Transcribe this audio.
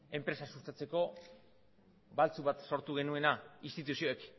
enpresa sustatzeko baltzu bat sortu genuena instituzioek